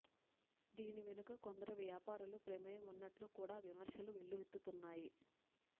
దీని వెనుక కొందరి వ్యాపారుల ప్రమేయం ఉన్నట్లు కూడా విమర్శలు వెల్లువెత్తుతున్నాయి